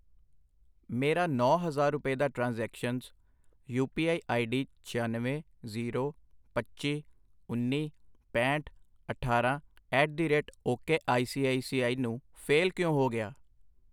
ਮੇਰਾ ਨੌਂ ਹਜ਼ਾਰ ਰੁਪਏ ਦਾ transactions, U P I ID ਛਿਆਨਵੇਂ, ਜ਼ੀਰੋ, ਪੱਚੀ, ਉੰਨੀ, ਪੈਹਂਠ, ਅਠਾਰਾਂ at the rate ok I C I C I ਨੂੰ ਫੇਲ ਕਿਉ ਹੋ ਗਿਆ ?